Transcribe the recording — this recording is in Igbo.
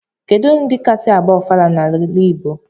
Kedu ndi kasi agba ofala n'ala igbo?